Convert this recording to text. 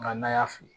N'a y'a fili